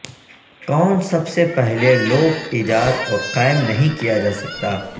کون سب سے پہلے لوپ ایجاد اور قائم نہیں کیا جاسکا